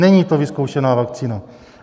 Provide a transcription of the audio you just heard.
Není to vyzkoušená vakcína.